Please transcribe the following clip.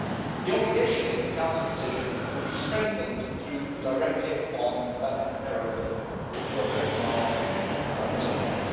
The obligations in the Council decision will be strengthened through the Directive on combating terrorism which you are voting on tomorrow.